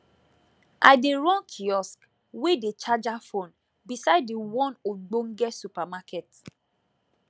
i dey run kiosk whey dey charger phone beside the one ogbonge supermarket